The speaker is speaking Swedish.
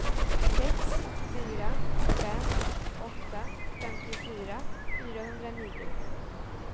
sex fyra fem åtta femtiofyra fyrahundranio